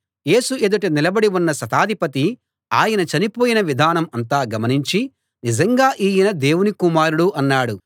యేసు ఎదుట నిలబడి ఉన్న శతాధిపతి ఆయన చనిపోయిన విధానం అంతా గమనించి నిజంగా ఈయన దేవుని కుమారుడు అన్నాడు